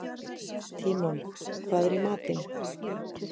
Tímon, hvað er í matinn?